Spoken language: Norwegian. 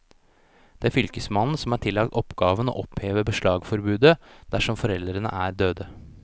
Det er fylkesmannen som er tillagt oppgaven å oppheve beslagsforbudet, dersom foreldrene er døde.